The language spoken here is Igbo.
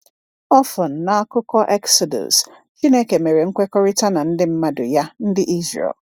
Ọfọn, n’akụkọ Exodus, Chineke mere nkwekọrịta na ndị mmadụ Ya, Ndị Izrel.